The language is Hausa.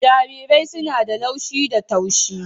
Jarirai suna da laushi da taushi